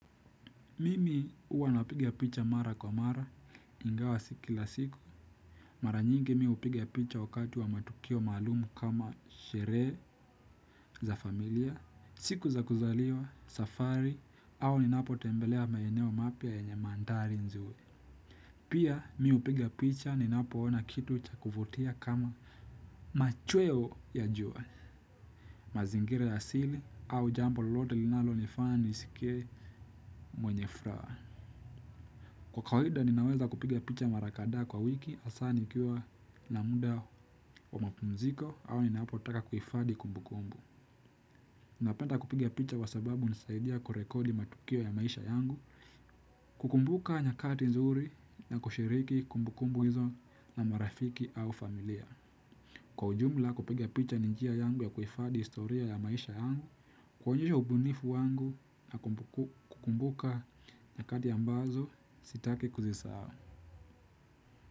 Mimi uwa napiga picha mara kwa mara, ingawa si kila siku. Mara nyingi mi upiga picha wakati wa matukio malumu kama sheree za familia, siku za kuzaliwa, safari, au ninapo tembelea mayeneo mapya yenye mandari nzuri. Pia mi upiga picha ninapoona kitu cha kuvutia kama machweo ya jua. Mazingira ya sili au jambo lolote linalo nifana nisikie mwenye fraa. Kwa kawaida ninaweza kupiga picha marakadaa kwa wiki asaa nikiwa na muda wa mapumziko au ninapotaka kuifadi kumbukumbu. Napenta kupiga picha wa sababu nisaidia kurekodi matukio ya maisha yangu, kukumbuka nyakati nzuri na kushiriki kumbukumbu hizo na marafiki au familia. Kwa ujumla kupiga picha ni njia yangu ya kuifadi historia ya maisha yangu, kwonyesha ubunifu wangu na kukumbuka nyakati ambazo sitaki kuzisahao.